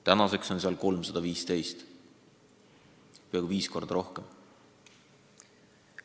–, nüüdseks on neid seal 315 ehk peaaegu viis korda rohkem.